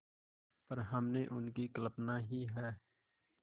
पर हमने उनकी कल्पना ही है